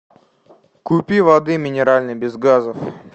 купи воды минеральной без газов